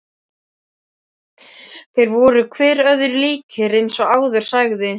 Þeir voru hver öðrum líkir eins og áður sagði.